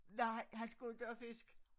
Nej han skulle inte have fisk